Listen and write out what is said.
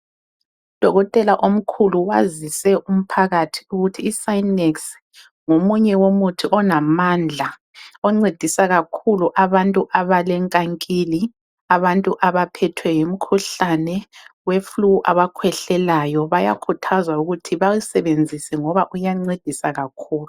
Udokotela omkhulu wazise umphakathi ukuthi iSinex ngomunye womuthi onamandla oncedisa kakhulu abantu abalenkankili, abantu abaphethwe yimikhuhlane weflu, abakhwehlelayo bayakhuthazwa ukuthi bawusebenzise ngoba uyancedisa kakhulu.